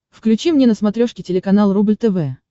включи мне на смотрешке телеканал рубль тв